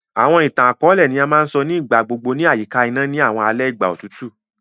Àwọn ìtàn-àkóòlẹ̀ ni a ma n so ni ìgbà gbogbo ni àyíká iná ni àwọn alẹ ìgbà otutu.